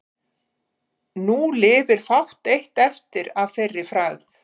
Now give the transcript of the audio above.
Nú lifir fátt eitt eftir að þeirri frægð.